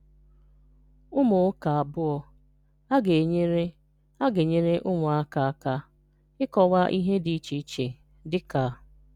Ụ́mụ̀ ụ́ka abụọ a gà-enyere a gà-enyere ụmụ́aka aka n’íkọ̀wa ihe dị iche iche, dị ka